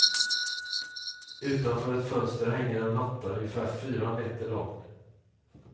Utanför ett fönster hänger en matta, ungefär fyra meter lång.